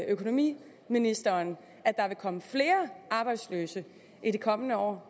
økonomiministeren at der vil komme flere arbejdsløse i det kommende år